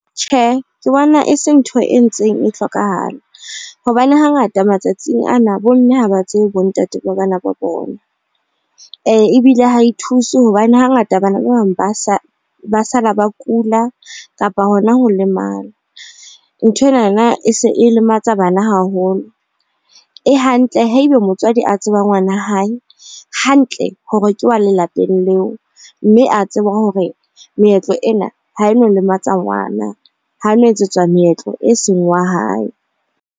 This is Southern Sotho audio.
Tjhe, ke bona e se ntho e ntseng e hlokahala hobane hangata matsatsing ana bo mme haba tsebe bo ntate ba bana ba bona. Ebile ha e thuse hobane hangata bana ba bang ba sala ba kula kapa hona ho lemala. Nthwenana e se e lematsa bana haholo. E hantle haeba motswadi a tseba ngwana hae hantle hore ke wa lelapeng leo, mme a tseba hore meetlo ena ha e no lematsa ngwana ha no etsetswa meetlo e seng wa hae.